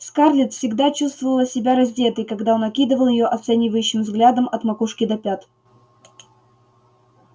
скарлетт всегда чувствовала себя раздетой когда он окидывал её оценивающим взглядом от макушки до пят